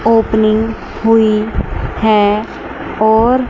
opening हुई है और--